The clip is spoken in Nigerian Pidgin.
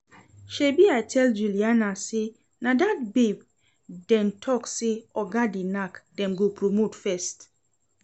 Shebi I tell Juliana say na dat babe dem talk say oga dey knack dem go promote first